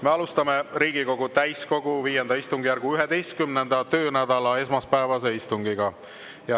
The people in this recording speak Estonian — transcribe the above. Me alustame Riigikogu täiskogu V istungjärgu 11. töönädala esmaspäevast istungit.